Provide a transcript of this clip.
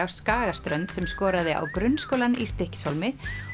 á Skagaströnd sem skoraði á Grunnskólann í Stykkishólmi